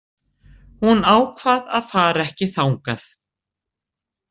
Hún ákvað að fara ekki þangað.